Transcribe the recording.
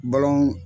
Balɔn